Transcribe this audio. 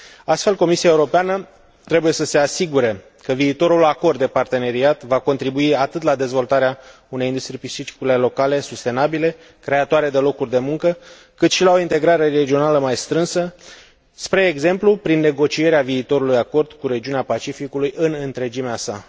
Astfel, Comisia Europeană trebuie să se asigure că viitorul acord de parteneriat va contribui atât la dezvoltarea unei industrii piscicole locale sustenabile, creatoare de locuri de muncă, cât și la o integrare regională mai strânsă, spre exemplu, prin negocierea viitorului acord cu regiunea Pacificului în întregimea sa.